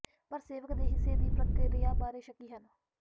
ਪਰ ਸੇਵਕ ਦੇ ਹਿੱਸੇ ਦੀ ਪ੍ਰਕਿਰਿਆ ਬਾਰੇ ਸ਼ੱਕੀ ਹਨ